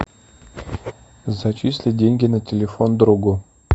зачислить деньги на телефон другу